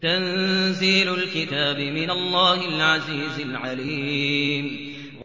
تَنزِيلُ الْكِتَابِ مِنَ اللَّهِ الْعَزِيزِ الْعَلِيمِ